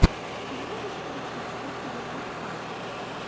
ты можешь включить крутые подкасты